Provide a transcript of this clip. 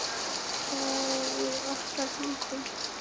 Þetta er í okkar höndum.